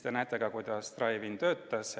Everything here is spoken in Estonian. Te näete, kuidas drive-in töötas.